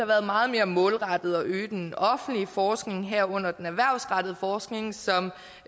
været meget mere målrettet at øge den offentlige forskning herunder den erhvervsrettede forskning som